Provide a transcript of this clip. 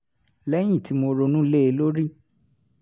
lẹ́yìn tí mo ronú lé e lórí